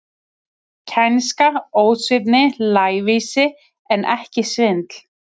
Kænska, ósvífni, lævísi, en ekki svindl.